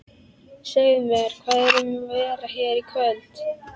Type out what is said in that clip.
Segðu mér, hvað er um að vera hérna í kvöld?